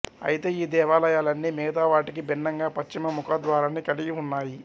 అయితే ఈ దేవాలయాలన్నీ మిగతా వాటికి భిన్నంగా పశ్చిమ ముఖద్వారాన్ని కలిగి ఉన్నాయి